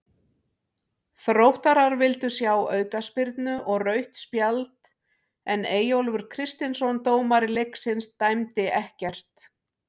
Þróttarar vildu sjá aukaspyrnu og rautt spjald en Eyjólfur Kristinsson dómari leiksins dæmdi ekkert.